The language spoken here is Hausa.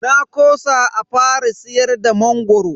Na kosa a fara siyar da mangoro.